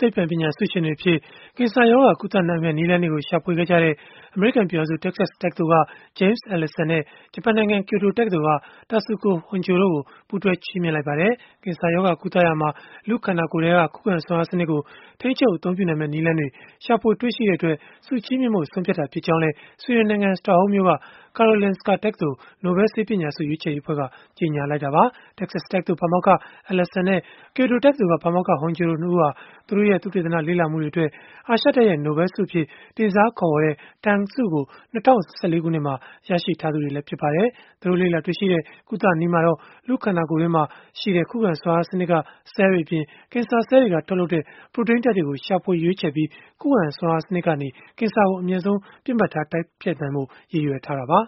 သိပ္ပံပညာ ဆုရှင်တွေအဖြစ် ကင်ဆာရောဂါ ကုသနိုင်မယ့် နည်းလမ်းတွေကို ရှာဖွေခဲ့ကြတဲ့ အမေရိကန် ပြည်ထောင်စု တက္ကဆက်တက္ကသိုလ်က James Allison နဲ့ ဂျပန်နိုင်ငံ ကျိုတိုတက္ကသိုလ်က Tasuku Honjo တို့ကို ပူးတွဲချီးမြှင့်လိုက်ပါတယ်။ ကင်ဆာရောဂါ ကုသရာမှာ လူ့ခန္ဓာကိုယ်ထဲက ခုခံစွမ်းအားစနစ်ကို ထိန်းချုပ်အသုံးပြုနိုင်မယ့် နည်းလမ်းတွေကို ရှာဖွေတွေ့ရှိခဲ့ကြတဲ့အတွက် ဆုချီးမြှင့်ဖို့ ဆုံးဖြတ်ခဲ့တာ ဖြစ်ကြောင်းလည်း ဆွီဒင်နိုင်ငံ စတော့ဟုမ်းမြို့က Karolinska တက္ကသိုလ်၊ နိုဘဲလ်ဆေးပညာဆု ရွေးချယ်ရေးအဖွဲ့က ကြေညာလိုက်တာပါ။ တက္ကဆက် တက္ကသိုလ် ပါမောက္ခ Allison နဲ့ ကျိုတိုတက္ကသိုလ်က ပါမောက္ခ Honjo တို့ ၂ ဦးဟာ သူတို့ရဲ့ သုတေသန လေ့လာမှုတွေအတွက် အာရှတိုက်ရဲ့ နိုဘဲလ်ဆုအဖြစ် တင်စားခေါ်ဝေါ်ကြတဲ့ Tang ဆုကို ၂၀၁၄ ခုနှစ်မှာ ရရှိထားသူတွေလည်း ဖြစ်ပါတယ်။ သူတို့လေ့လာတွေ့ရှိခဲ့တဲ့ ကုသနည်းမှာတော့ လူ့ခန္ဓာကိုယ်တွင်းမှာရှိတဲ့ ခုခံစွမ်းအားစနစ်က ဆဲလ်တွေအပြင် ကင်ဆာဆဲလ်တွေက ထုတ်လုပ်တဲ့ ပရိုတိန်းဓာတ်တွေကို ရှာဖွေရွေးချယ်ပြီး၊ ခုခံစွမ်းအားစနစ်ကနေ ကင်ဆာကို အမြန်ဆုံး ပစ်မှတ်ထား တိုက်ဖျက်နိုင်ဖို့ ရည်ရွယ်ထားတာပါ